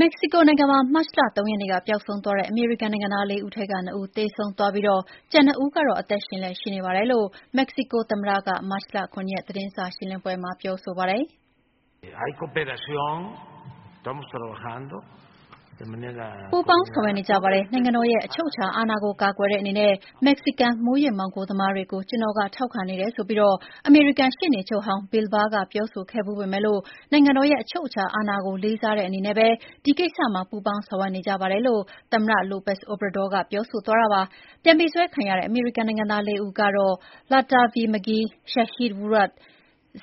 မက္ကဆီကိုနိုင်ငံမှာ မတ်လ (၃) ရက်နေ့က ပျောက်ဆုံးသွားတဲ့အမေရိကန်နိုင်ငံသား ၄ ဦးထဲက ၂ ဦးသေဆုံးသွားပြီး ကျန်၂ ဦးကတော့ အသက်ရှင်လျက်ရှိနေပါတယ်လို့ မက္ကဆီကိုသမ္မတက မတ်လ ၇ ရက် သတင်းစာရှင်းလင်းပွဲမှာ ပြောပါတယ်။ “ပူးပေါင်းဆောင်ရွက်နေကြပါတယ်။ နိုင်ငံတော်ရဲ့အချုပ်အခြာအာဏာကို ကာကွယ်တဲ့အနေနဲ့ မက္ကဆီကန် မူးယစ်မှောင်ခိုသမားတွေကို ကျနော်က ထောက်ခံနေတယ်ဆိုပြီး အမေရိကန်ရှေ့နေချုပ်ဟောင်း Bill Barr ကပြောဆိုဖူးပေမယ့် နိုင်ငံတော်ရဲ့အချုပ်အခြာအာဏာကိုလေးစားတဲ့အနေနဲ့ပဲ ဒီကိစ္စမှာ ပူေးပါင်းဆောင်ရွက်နေကြပါတယ်” လို့ သမ္မတ Lopez Obrador က ပြောဆိုသွားတာပါ။ ပြန်ပေးဆွဲခံရတဲ့ အမေရိကန်နိုင်ငံသား ၄ ဦးကတော့ Latavia "Tay" McGee, Shaeed Woodard,